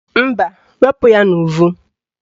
Mba, wepu ya n'uvu